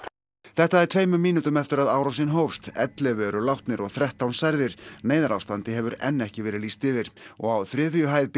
þetta er tveimur mínútum eftir að árásin hófst ellefu eru látnir og þrettán særðir neyðarástandi hefur enn ekki verið lýst yfir og á þriðju hæð